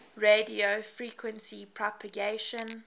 radio frequency propagation